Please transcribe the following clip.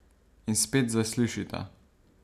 In spet zaslišita.